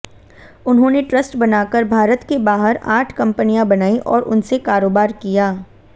उन्होंने ट्रस्ट बनाकर भारत के बाहर आठ कंपनियां बनाई और उनसे कारोबार किया